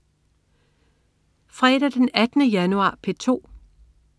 Fredag den 18. januar - P2: